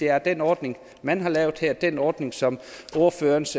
er at den ordning man har lavet her den ordning som ordførerens